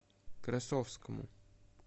красовскому